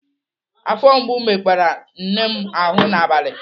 Afọ mgbu mekpara nne m ahụ n'abalị.